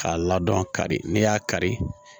K'a ladɔn kari n'i y'a kari